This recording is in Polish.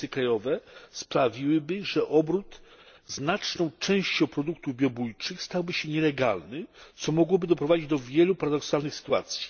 przepisy krajowe sprawiłyby, że obrót znaczną częścią produktów biobójczych stałby się nielegalny, co mogłoby doprowadzić do wielu paradoksalnych sytuacji?